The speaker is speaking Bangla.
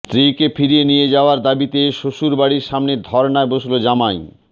স্ত্রীকে ফিরিয়ে নিয়ে যাওয়ার দাবিতে শ্বশুরবাড়ির সামনে ধর্নায় বসল জামাই